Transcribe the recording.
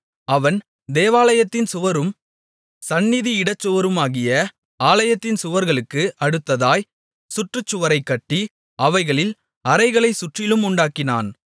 அவன் தேவாலயத்தின் சுவரும் சந்நிதி இடச்சுவருமாகிய ஆலயத்தின் சுவர்களுக்கு அடுத்ததாய்ச் சுற்றுச்சுவரைக் கட்டி அவைகளில் அறைகளைச் சுற்றிலும் உண்டாக்கினான்